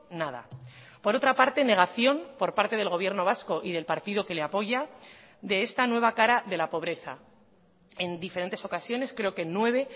nada por otra parte negación por parte del gobierno vasco y del partido que le apoya de esta nueva cara de la pobreza en diferentes ocasiones creo que en nueve